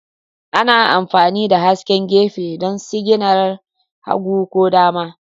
Ana amfani da hasken gefe don sigina hagu ko dama